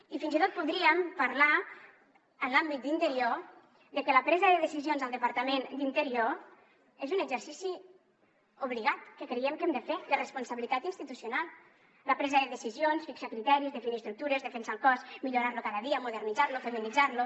i fins i tot podríem parlar en l’àmbit d’interior de que la presa de decisions del departament d’interior és un exercici obligat que creiem que hem de fer de responsabilitat institucional la presa de decisions fixar criteris definir estructures defensar el cos millorar lo cada dia modernitzar lo feminitzar lo